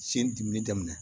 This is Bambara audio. Cen dimini daminɛ